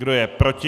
Kdo je proti?